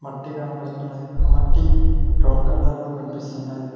మట్టి కనపడుతున్నది ఆ మట్టి బ్రౌన్ కలర్ లో కనిపిస్తున్నది.